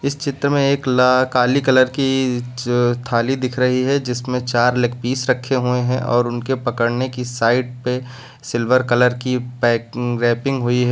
चित्र में एक ला काली कलर की थाली दिख रही है जिसमें चार लेग पीस रखे हुए हैं और उनके पकड़ने की साइड पे सिल्वर कलर की पै अं रैपिंग हुई है।